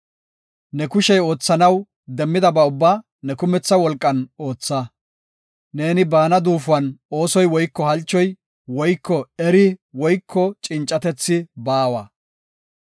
Ne kushey oothanaw demmidaba ubbaa ne kumetha wolqan ootha; neeni baana duufuwan oosoy woyko halchoy woyko eri woyko cincatethi baawa.